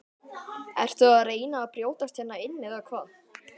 Ertu að reyna að brjótast hérna inn eða hvað!